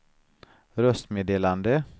röstmeddelande